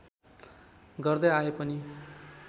गर्दै आए पनि